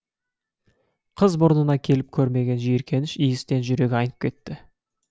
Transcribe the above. қыз мұрнына келіп көрмеген жиіркеніш иістен жүрегі айнып кетті